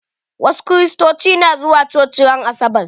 Wasu Kiristoci na zuwa coci ran asabar.